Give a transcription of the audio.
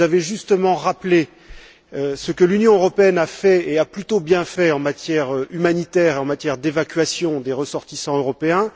Vous avez justement rappelé ce que l'Union européenne a fait et a plutôt bien fait en matière humanitaire et en matière d'évacuation des ressortissants européens.